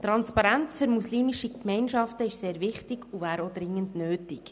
Transparenz für muslimische Gemeinschaften ist sehr wichtig und wäre auch dringend nötig.